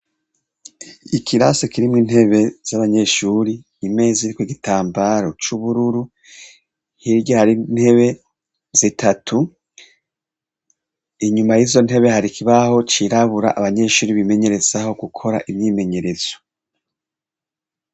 Ikirasi kirimwe intebe z'abanyeshuri imeza iriko igitambaro c'ubururu hirya hari ntebe zitatu inyuma y'izo ntebe hari kibaho cirabura abanyeshuri bimenyereza aho gukora imyimenyerezo.